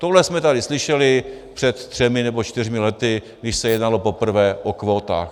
Tohle jsme tady slyšeli před třemi nebo čtyřmi lety, když se jednalo poprvé o kvótách.